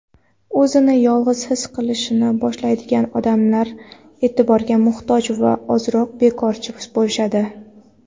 o‘zini yolg‘iz his qilishni boshlaydigan odamlar "e’tiborga muhtoj" va ozroq bekorchi bo‘lishadi.